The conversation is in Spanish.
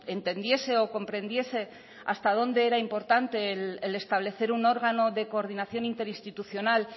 entendiese o comprendiese hasta dónde era importante el establecer un órgano de coordinación interinstitucional